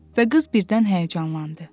Və qız birdən həyəcanlandı.